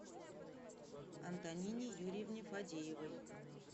антонине юрьевне фадеевой